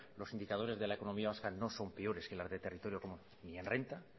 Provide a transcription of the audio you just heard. los indicadores de la economía vasca no son peores que las de territorio común ni en renta